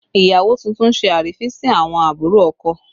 Ìyàwó tuntun ṣe àrífín sí àwọn àbúrò ọkọ